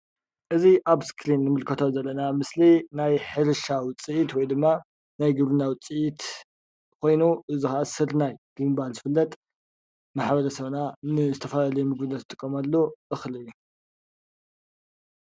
እዚ ኣብ እስክሪን እንምልከቶ ዘለና ምስሊ ናይ ሕርሻ ውፅኢት ወይ ድማ ናይ ግብርና ውፅኢት ኮይኑ እዚ ክዓ ስርናይ ብምባል ዝፍለጥ ማሕበረሰብና ንዝተፈላለዩ ምግብነት ዝጥቀመሉ እክሊ እዩ፡፡